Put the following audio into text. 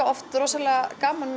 oft rosalega gaman